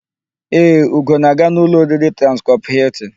Ee, Ugo na-aga n'ụlọ oriri Transcọp Hịltịn.